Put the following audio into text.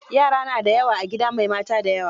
Yara na da yawa a gida mai mata da yawa.